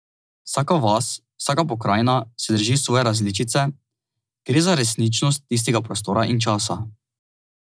Vsaka vas, vsaka pokrajina se drži svoje različice, gre za resničnost tistega prostora in časa.